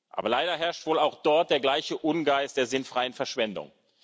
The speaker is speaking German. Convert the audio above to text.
Aber leider herrscht wohl auch dort der gleiche Ungeist der sinnfreien Verschwendung.